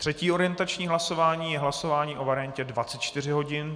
Třetí orientační hlasování je hlasování o variantě 24 hodin.